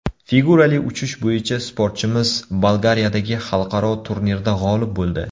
Figurali uchish bo‘yicha sportchimiz Bolgariyadagi xalqaro turnirda g‘olib bo‘ldi.